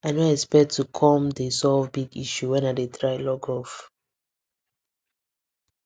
i no expect to come dey solve big issue when i dey try log off